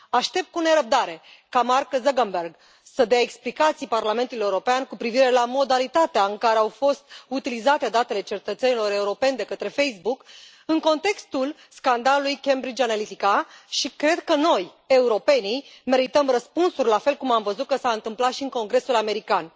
Aștept cu nerăbdare ca Mark Zuckerberg să dea explicații Parlamentului European cu privire la modalitatea în care au fost utilizate datele cetățenilor europeni de către Facebook în contextul scandalului Cambridge Analytica și cred că noi, europenii, merităm răspunsuri, la fel cum am văzut că s a întâmplat și în Congresul american.